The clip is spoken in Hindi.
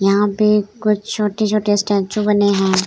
यहाँ पे कुछ छोटे-छोटे स्टेच्यू बने है।